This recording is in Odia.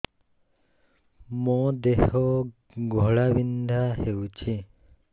ମୋ ଦେହ ଘୋଳାବିନ୍ଧା ହେଉଛି